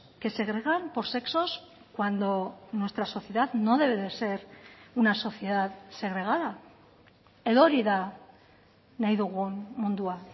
que segregan por sexos cuando nuestra sociedad no debe de ser una sociedad segregada edo hori da nahi dugun mundua